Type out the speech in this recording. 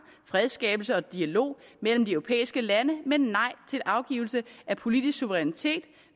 fredsskabelse og dialog mellem de europæiske lande men nej til afgivelse af politisk suverænitet